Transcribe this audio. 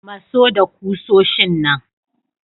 Maso da kusoshin kusa.